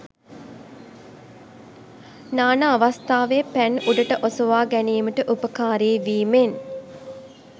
නාන අවස්ථාවේ පැන් උඩට ඔසවා ගැනීමට උපකාරී වීමෙන්